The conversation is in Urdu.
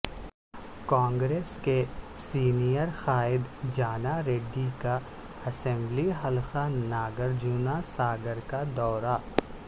کانگریس کے سینئر قائد جاناریڈی کا اسمبلی حلقہ ناگرجنا ساگر کا دورہ